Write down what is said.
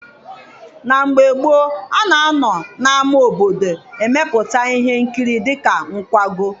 Na mgbe gboo, a na-anọ n'ama obodo emepụta ihe nkiri dịka nkwago.